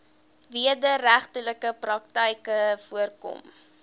wederregtelike praktyke voorkom